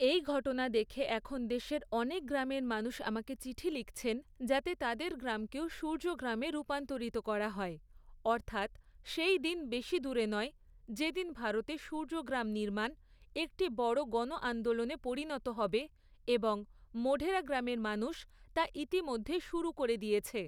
এই ঘটনা দেখে এখন দেশের অনেক গ্রামের মানুষ আমাকে চিঠি লিখছেন, যাতে তাদের গ্রামকেও সূর্যগ্রামে রূপান্তরিত করা হয়, অর্থাৎ সেই দিন বেশি দূরে নয়, যেদিন ভারতে সূর্যগ্রাম নির্মাণ, একটি বড় গণআন্দোলনে পরিণত হবে এবং মোঢেরা গ্রামের মানুষ তা ইতিমধ্যে শুরু করে দিয়েছে।